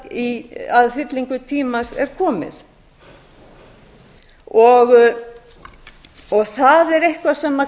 þegar að fyllingu tímans er komið það er eitthvað sem